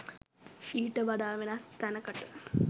ඊට වඩා වෙනස් තැනකට.